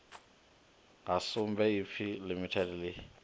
ha sumbe ipfi limited ḽi